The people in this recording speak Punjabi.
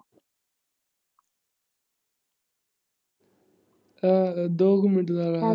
ਅ ਦੋ ਕ ਮਿਲ।